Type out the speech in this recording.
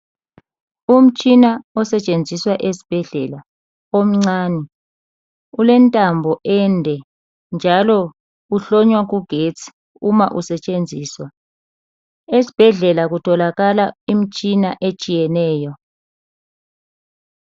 Umtshina osetshenziswa esibhedlela omcani ulentambo ended njalo uhlonywa kugetsi uma usetshenziswa esibhedlela kutholakala imtshina etshiyeneyo